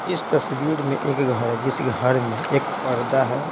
इस तस्वीर में एक घर है जिस घर में एक पर्दा है।